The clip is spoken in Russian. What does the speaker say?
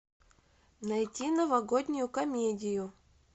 найти новогоднюю комедию